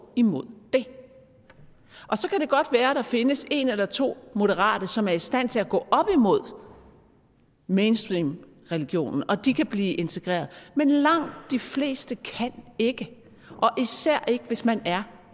imod det og så kan det godt være at der findes en eller to moderate som er i stand til at gå op imod mainstreamreligionen og de kan blive integreret men langt de fleste kan ikke og især ikke hvis man er